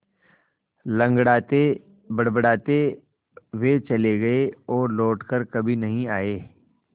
लँगड़ाते बड़बड़ाते वे चले गए और लौट कर कभी नहीं आए